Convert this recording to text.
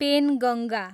Penganga